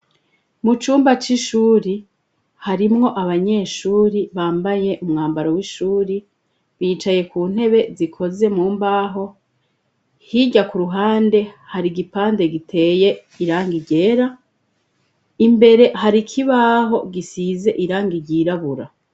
Mu cumba c'ishuri harimwo abanyeshuri bambaye umwambaro w'ishuri, bicaye ku ntebe zikoze mu mbaho . Hirya k'uruhande, har'igipande giteye irangi ryera, imbere har'ikibaho gisize irangi ryirabura.